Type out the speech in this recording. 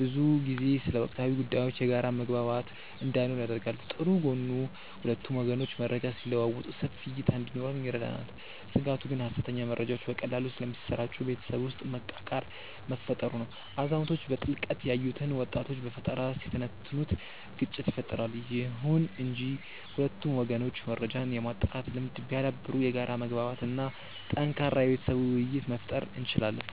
ብዙ ጊዜ ስለ ወቅታዊ ጉዳዮች የጋራ መግባባት እንዳይኖር ያደርጋል። ጥሩ ጎኑ ሁለቱም ወገኖች መረጃ ሲለዋወጡ ሰፊ እይታ እንዲኖረን ይረዳናል። ስጋቱ ግን ሐሰተኛ መረጃዎች በቀላሉ ስለሚሰራጩ ቤተሰብ ውስጥ መቃቃር መፈጠሩ ነው። አዛውንቶች በጥልቀት ያዩትን ወጣቶች በፈጠራ ሲተነትኑት ግጭት ይፈጠራል። ይሁን እንጂ ሁለቱም ወገኖች መረጃን የማጣራት ልምድ ቢያዳብሩ የጋራ መግባባት እና ጠንካራ የቤተሰብ ውይይት መፍጠር እንችላለን።